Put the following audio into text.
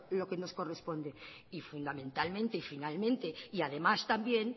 lo que nos corresponde y fundamentalmente y finalmente y además también